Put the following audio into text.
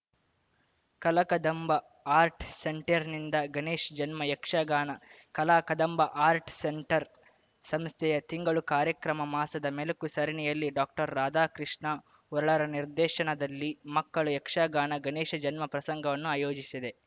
Kalakadamba art ಸೆಂಟರ್‌ನಿಂದ ಗಣೇಶ್ ಜನ್ಮ Yakshagana Kalakadamba art centre ಸಂಸ್ಥೆಯ ತಿಂಗಳು ಕಾರ್ಯಕ್ರಮ ಮಾಸದ ಮೆಲುಕು ಸರಣಿಯಲ್ಲಿ ಡಾಕ್ಟರ್ ರಾಧಾಕೃಷ್ಣ ಉರ್ಳ್ರ ನಿರ್ದೇಶನದಲ್ಲಿ ಮಕ್ಕಳ ಯಕ್ಷಗಾನ ಗಣೇಶ ಜನ್ಮಪ್ರಸಂಗವನ್ನು ಆಯೋಜಿಸಿದೆ